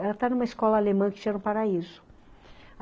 Ela tá numa escola alemã que Paraíso.